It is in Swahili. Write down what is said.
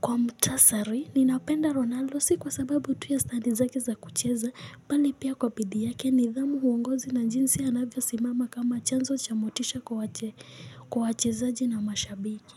Kwa mutasari, ninapenda Ronaldo si kwa sababu tu ya standi zake za kucheza, bali pia kwa bidii yake nidhamu huongozi na jinsi anavyo simama kama chanzo chamotisha kwa wache zaji na mashabiki.